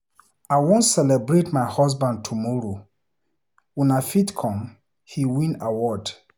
I wan celebrate my husband tomorrow, una fit come, he win award.